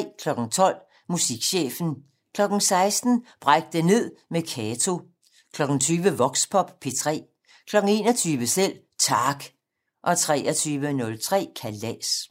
12:00: Musikchefen 16:00: Bræk det ned med Kato 20:00: Voxpop P3 21:00: Selv Tak 23:03: Kalas